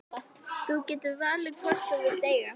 Þú getur valið hvorn þú vilt eiga.